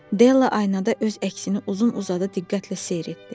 Della aynada öz əksini uzun-uzadı diqqətlə seyr etdi.